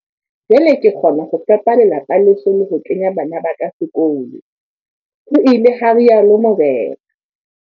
"Jwale ke kgona ho fepa lelapa leso le ho kenya bana ba ka sekolo," ho ile ha rialo Mokoena.